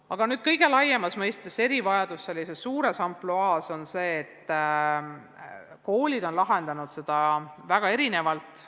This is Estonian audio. Aga erivajadusi kõige laiemas mõistes on koolid lahendanud väga erinevalt.